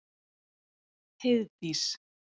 Heiðdís